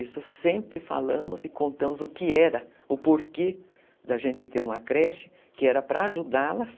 Isso sempre falamos e contamos o que era, o porquê da gente ter uma creche, que era para ajudá-las,